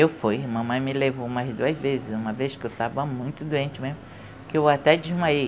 Eu fui, mamãe me levou mais duas vezes, uma vez que eu estava muito doente mesmo, que eu até desmaiei.